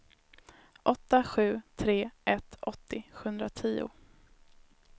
åtta sju tre ett åttio sjuhundratio